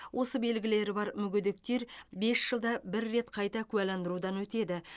осы белгілері бар мүгедектер бес жылда бір рет қайта куәландырудан өтеді